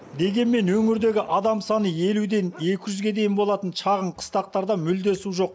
дегенмен өңірдегі адам саны елуден екі жүзге дейін болатын шағын қыстақтарда мүлде су жоқ